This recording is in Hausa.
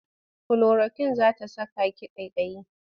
Kulorakwin za ta saka ki ƙaiƙayi.